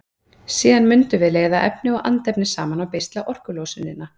Síðan mundum við leiða efni og andefni saman og beisla orkulosunina.